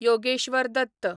Yogeshwar Dutt